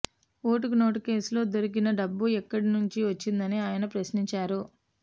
ఓటుకు నోటు కేసులో దొరికిన డబ్బు ఎక్కడి నుండి వచ్చిందని ఆయన ప్రశ్నించారు